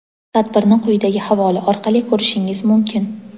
Tadbirni quyidagi havola orqali ko‘rishingiz mumkin.